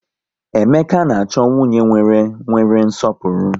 Emeka na-achọ nwunye nwere nwere nsọpụrụ